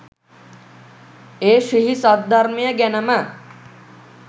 ඒ ශ්‍රී සද්ධර්මය ගැනම